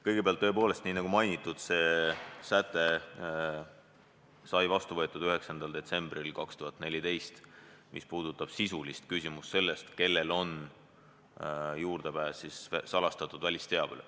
Kõigepealt, tõepoolest, nii nagu mainitud, see säte sai vastu võetud 9. detsembril 2014 ja puudutab sisulist küsimust sellest, kellel on juurdepääs salastatud välisteabele.